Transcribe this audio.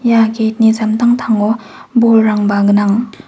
ia gate -ni samtangtango bolrangba gnang.